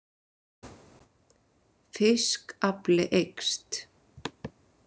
Fiskafli eykst